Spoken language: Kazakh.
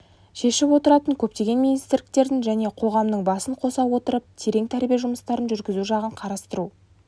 шешіп отыратын көптеген министрліктердің және қоғамның басын қоса отырып терең тәрбие жұмыстарын жүргізу жағын қарастыру